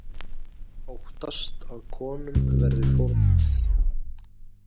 Óttast að konum verði fórnað